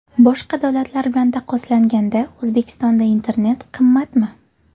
Boshqa davlatlar bilan taqqoslanganda O‘zbekistonda internet qimmatmi?.